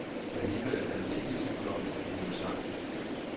Alligevel er man ikke i tvivl om, at de hører sammen.